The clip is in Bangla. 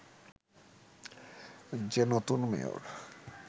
যে নতুন মেয়র